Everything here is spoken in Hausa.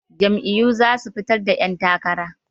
Jam'iyyu za su fitar da 'yantakara.